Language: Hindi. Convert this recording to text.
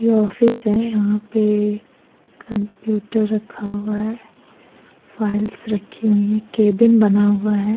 यह ऑफिस है यहाँ पे कंप्यूटर रखा हुआ है फाईल्स रखी हुई है केबिन बना हुआ है।